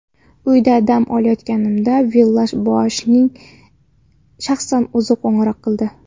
Uyda dam olayotganimda Villash-Boashning shaxsan o‘zi qo‘ng‘iroq qildi.